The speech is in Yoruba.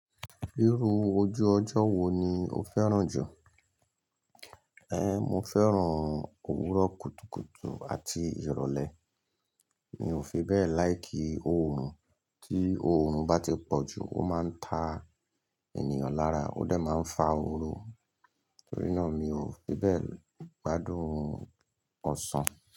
Irú ojú ọjọ́ wo ni o fẹ́ràn jù? Ehn, mo fẹ́ràn òwúrọ̀ kùtùkùtù àti ìrọ̀lẹ́. Mi ò fi bẹ́ẹ̀ láìkí òòrùn. Tí òòrùn bá ti pọ̀ jù, ó máa ń ta ènìyàn lára, ó dà máa ń fa òróró. Nítorí náà mi ò fi bẹ́ẹ̀ gbádùn ọ̀sán.